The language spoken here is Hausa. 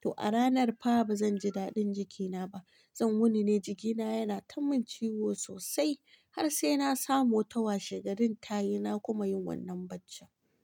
to a ranar fa ba zan ji daɗin jikina ba. Zan wuni ne jikina yana ta min ciwo sosai har sai na samu wata washegarin tayi na kuma yin wannan bacci.